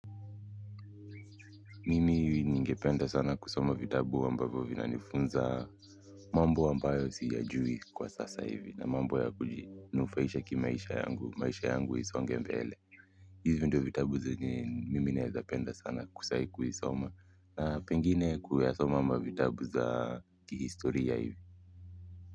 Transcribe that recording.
Mimi ningependa sana kusoma vitabu ambavyo vinanifunza mambo ambayo siyajui kwa sasa hivi na mambo ya kuji nufaisha kimaisha yangu, maisha yangu isonge mbele. Hivi ndio vitabu zenye mimi naweza penda sana sai kuisoma. Na pengine kuyasoma mavitabu za kihistoria hivi.